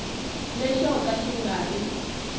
lexo ka xi nga ri